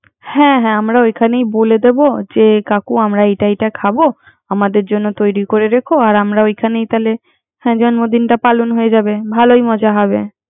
হ্যা হ্যা আমরা ওখানেই বলে দিব যে কাকু আমরা এটা এটা খাবো আমাদের জন্য তৈরি করে রেখ আর আমরা ওখানে লাইতে জন্মদিনটা পালন হয়ে যাবে। ভালোই মজা হবে।